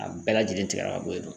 A bɛɛ lajɛlen tigɛla ka bɔ yen nɔ